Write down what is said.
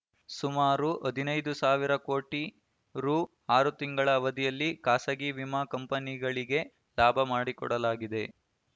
ಸುಮಾರು ಹದಿನೈದು ಸಾವಿರ ಕೋಟಿ ರು ಆರು ತಿಂಗಳ ಅವಧಿಯಲ್ಲಿ ಖಾಸಗಿ ವಿಮಾ ಕಂಪನಿಗಳಿಗೆ ಲಾಭ ಮಾಡಿಕೊಡಲಾಗಿದೆ